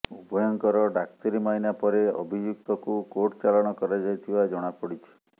ଉଭୟଙ୍କର ଡାକ୍ତରୀ ମାଇନା ପରେ ଅଭିଯୁକ୍ତକୁ କୋର୍ଟଚାଲାଣ କରାଯାଇଥିବା ଜଣାପଡିଛି